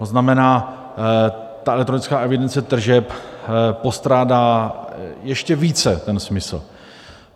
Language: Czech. To znamená, ta elektronická evidence tržeb postrádá ještě více ten smysl.